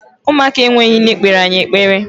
Ụmụaka enweghị nne kpere anyị ekpere.